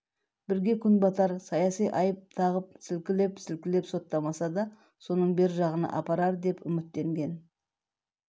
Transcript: бірге күн батар саяси айып тағып сілкілеп-сілкілеп соттамаса да соның бер жағына апарар деп үміттенген